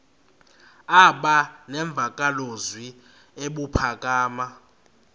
aba nemvakalozwi ebuphakama